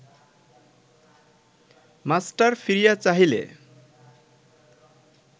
master ফিরিয়া চাহিলে